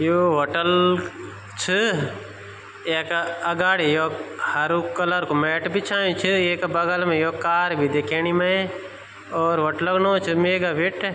You hotel छ येका अगाडी योक हरु कलर कु मैट बिछायु छ येका बगल मा योक कार बि दिखेंणि मै ओर होटलो नौ च मेगा वेट्टे ।